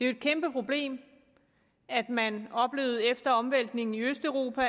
et kæmpeproblem at man efter omvæltningen i østeuropa